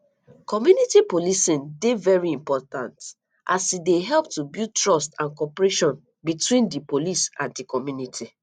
community policing dey very important as e dey help to build trust and cooperation between di police and di community